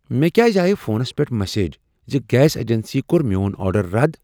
مےٚ کیاز آیہ فونس پیٹھ مسیج ز گیس ایجنسی کوٚر میون آرڈر رد؟